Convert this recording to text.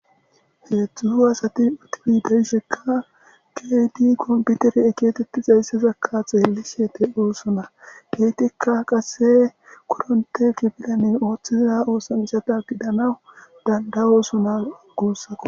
Hezhu asati uttidi de'isheka kehidi kompitere getetizaysaka xerlishe de'osona kehidi qase koronte kifilen othiza osancha gidanaw danda'osona gusako